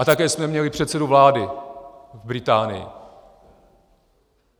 A také jsme měli předsedu vlády v Británii.